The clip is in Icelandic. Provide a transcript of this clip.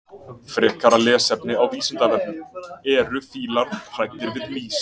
Frekara lesefni á Vísindavefnum: Eru fílar hræddir við mýs?